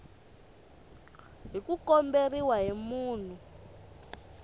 hi ku komberiwa hi munhu